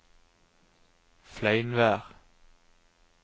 Fleinvær